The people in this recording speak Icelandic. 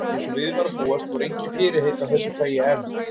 Eins og við var að búast voru engin fyrirheit af þessu tagi efnd.